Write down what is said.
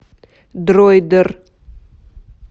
дроидер